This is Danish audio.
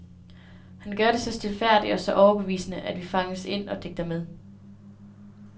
Han gør det så stilfærdigt og så overbevisende, at vi fanges ind og digter med.